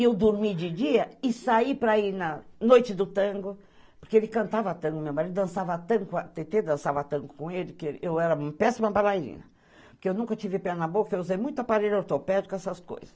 Eu dormi de dia e saí para ir na noite do tango, porque ele cantava tango, meu marido, dançava tango, tentei dançar tango com ele, eu era uma péssima balairina, porque eu nunca tive pé na boca, eu usei muito aparelho ortopédico, essas coisas.